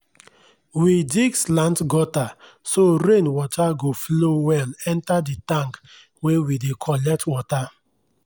we dig slant gutter so rain water go flow well enter the tank wey we dey collect water.